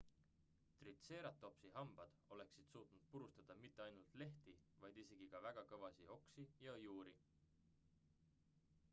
tritseeratopsi hambad oleksid suutnud purustada mitte ainult lehti vaid isegi ka väga kõvasid oksi ja juuri